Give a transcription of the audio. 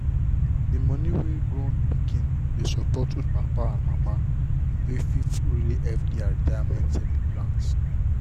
the money wey grown pikin dey support old papa and mama with fit really help their retirement savings plan.